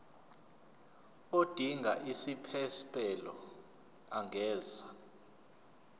odinga isiphesphelo angenza